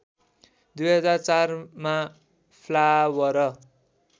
२००४ मा फ्लावर